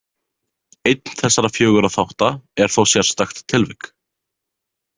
Einn þessara fjögurra þátta er þó sérstakt tilvik.